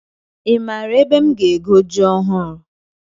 Ị maara ebe m ga-ego ji ọhụrụ?